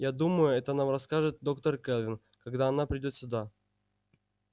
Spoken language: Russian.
я думаю это нам расскажет доктор кэлвин когда она придёт сюда